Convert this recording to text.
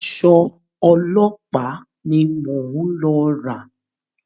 Aṣọ ọlọ́pàá ni mò ń lọ rà.